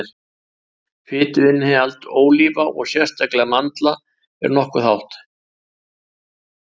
fituinnihald ólíva og sérstaklega mandla er nokkuð hátt